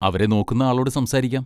അവരെ നോക്കുന്ന ആളോട് സംസാരിക്കാം.